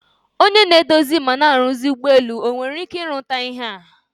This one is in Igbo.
Onye na-edozi ma na-arusi ụgbọelu enere ike ịrụta ihea?